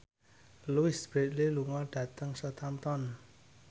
Louise Brealey lunga dhateng Southampton